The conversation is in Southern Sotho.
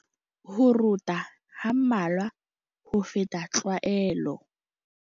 Ho rota ha mmalwa ho feta tlwaelo.